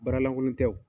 Baara lankolon tɛ o